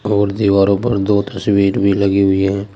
और दीवारो पर दो तस्वीर भी लगी हुई है।